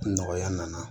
Nɔgɔya nana